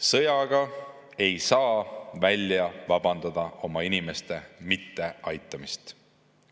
Sõjaga ei saa välja vabandada oma inimeste mitteaitamist.